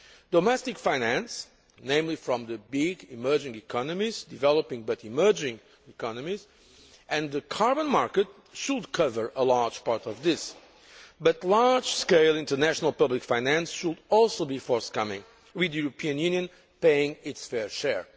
Domestic finance, namely from the large emerging economies developing but emerging economies and the carbon market should cover a large part of this, but large scale international public finance should also be forthcoming, with the European Union paying its fair share.